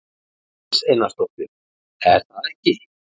Íris Einarsdóttir: Er það ekki?